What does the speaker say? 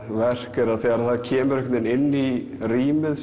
verk er að þegar það kemur inn í rýmið